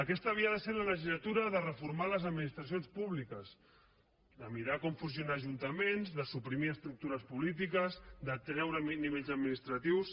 aquesta havia de ser la legislatura de reformar les administracions públiques de mirar com funcionen els ajuntaments de suprimir estructures polítiques de treure nivells administratius